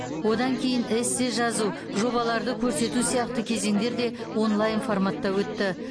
одан кейін эссе жазу жобаларды көрсету сияқты кезеңдер де онлайн форматта өтті